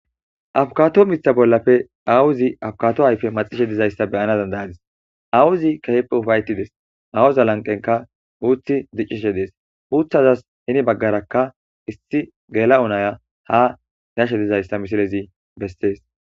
afukato mita bollafe awuzi afukato hayfe maxishe dizayssa beyana dandayadis awuzi kaheppe ufayetides awuza lanqenka uuti diccishe dees uutazas hini baggarakka issi gela'o naya ha gashe dizayssa misilezi besees